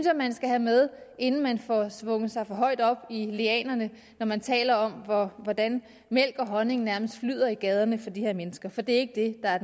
at man skal have med inden man får svunget sig for højt op i lianerne når man taler om hvordan mælk og honning nærmest flyder i gaderne for de her mennesker for det er ikke det der er